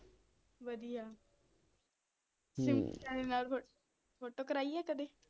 ਵਧੀਆ ਨਾਲ ਫੋ ਫੋਟੋ ਕਰਾਈ ਆ ਕਦੇ